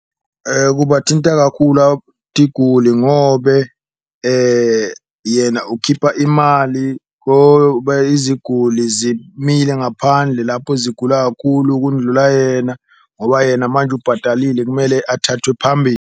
Kubathinta kakhulu tiguli ngobe yena ukhipha imali iziguli zimile ngaphandle lapho zigula kakhulu kundlula yena, ngoba yena manje ubhadalile kumele athathwe .